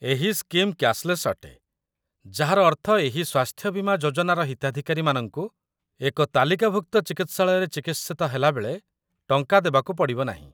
ଏହି scheme cashless ଅଟେ, ଯାହାର ଅର୍ଥ ଏହି ସ୍ୱାସ୍ଥ୍ୟ ବୀମା ଯୋଜନାର ହିତାଧିକାରୀମାନଙ୍କୁ ଏକ ତାଲିକାଭୁକ୍ତ ଚିକିତ୍ସାଳୟରେ ଚିକିତ୍ସିତ ହେଲାବେଳେ ଟଙ୍କା ଦେବାକୁ ପଡ଼ିବ ନାହିଁ